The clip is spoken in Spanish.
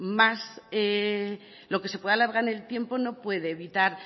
lo que más se puede alargar en el tiempo no puede evitar